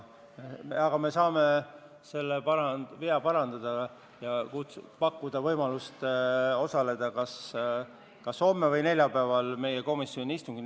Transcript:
Aga me saame selle vea parandada ja pakkuda teile võimalust osaleda kas homme või neljapäeval meie komisjoni istungil.